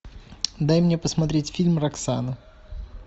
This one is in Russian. дай мне посмотреть фильм роксана